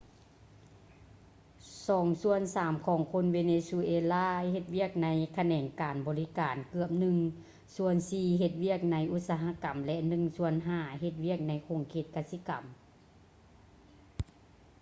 ສອງສ່ວນສາມຂອງຄົນເວເນຊູເອລາເຮັດວຽກໃນຂະແໜງການບໍລິການ ເກືອບໜຶ່ງສ່ວນສີ່ເຮັດວຽກໃນອຸດສະຫະກຳ ແລະ ໜຶ່ງສ່ວນຫ້າເຮັດວຽກໃນຂົງເຂດກະສິກຳ